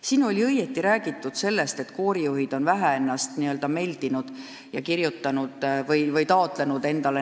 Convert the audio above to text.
Siin on õigesti räägitud, et koorijuhid on ennast vähe n-ö meldinud ja endale teatud kategooriaid taotlenud.